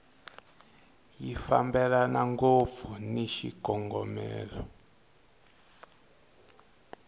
ya fambelani ngopfu ni xikongomelo